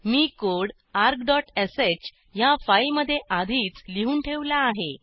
मी code argश ह्या फाईलमधे आधीच लिहून ठेवला आहे